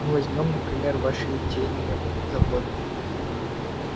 ну возьмём например ваши литейные заводы